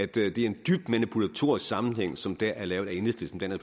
det er en dybt manipulatorisk sammenhæng som dér er lavet af enhedslisten den er